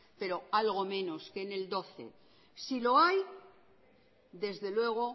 pero algo menos que en el doce si lo hay desde luego